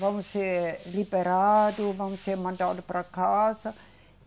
vão ser liberados, vão ser mandados para casa.